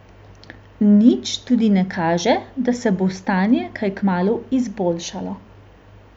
Nič tudi ne kaže, da se bo stanje kaj kmalu izboljšalo.